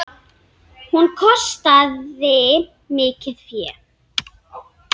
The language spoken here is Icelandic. Hún kostaði mikið fé.